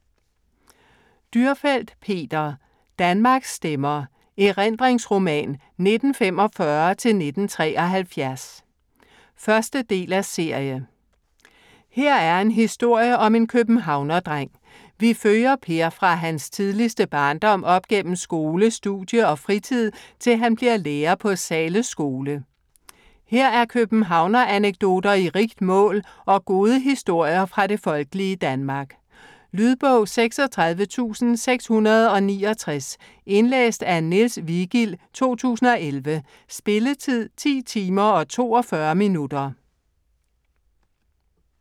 Dürrfeld, Peter: Danmarks stemmer: erindringsroman 1945-1973 1. del af serie. Her er en historie om en københavnerdreng, vi følger Per fra hans tidligste barndom op gennem skole, studie og fritid, til han bliver lærer på Zahles skole. Her er københavneranekdoter i rigt mål, og gode historier fra det folkelige Danmark. Lydbog 36669 Indlæst af Niels Vigild, 2011. Spilletid: 10 timer, 42 minutter.